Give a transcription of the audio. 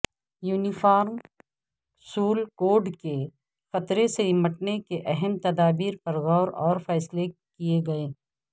uniform civil کوڈکے خطرے سے نمٹنے کے اہم تدابیر پر غور اور فیصلے کئے گئے